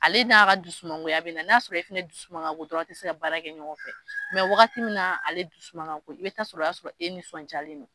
Ale n'a ka dusu mangoya bɛ na n'a y'a sɔrɔ e fɛnɛ dusu man ka go dɔrɔn a tɛ se ka baara kɛ ɲɔgɔn fɛ , mɛ wagati min na ale dusu man ka go i bɛ t'a sɔrɔ o y'a sɔrɔ e nisɔndiyalen no.